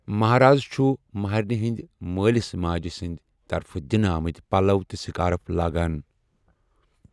مہراز چھُ مہرینہِ ہنٛدۍ مٲلِس ماجہِ سنٛدۍ طرفہٕ دِنہٕ آمٕتۍ پَلَو تہٕ سِکارُف لاگان۔